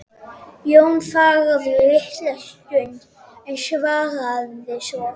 Jón þagði litla stund en svaraði svo